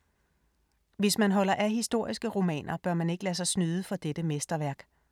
Hvis man holder af historiske romaner, bør man ikke lade sig snyde for dette mesterværk.